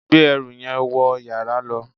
gbé ẹrù yẹn wọ yàrá lọ